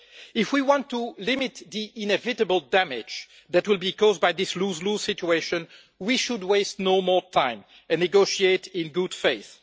If we want to limit the inevitable damage that will be caused by this lose lose situation we should waste no more time, and negotiate in good faith.